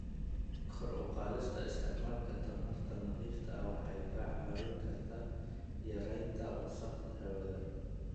Kor u qaadista isticmaalka tamarta nadiifta ah waxay ka caawin kartaa yareynta wasakheynta hawada.